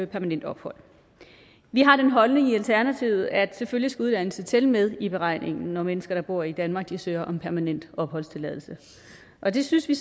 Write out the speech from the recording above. permanent ophold vi har den holdning i alternativet at selvfølgelig skal uddannelse tælle med i beregningen når mennesker der bor i danmark søger om permanent opholdstilladelse og det synes vi